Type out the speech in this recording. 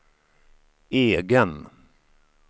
egen